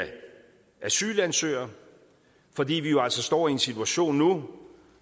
asylansøgere fordi vi jo altså står i en situation nu